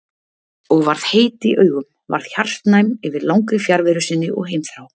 Og varð heit í augum, varð hjartnæm yfir langri fjarveru sinni og heimþrá.